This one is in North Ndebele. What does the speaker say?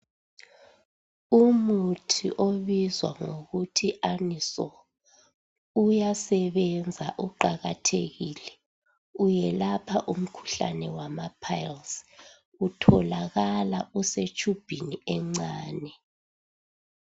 Umuthi obizwa ngokuthi anusolu uyasebenza, uqakathekile. Uyelapha umkhuhlane wamaphayilizi. Utholakala usetshubhini encane.